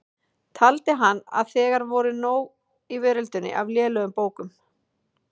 Taldi hann að þegar væri nóg í veröldinni af lélegum bókum.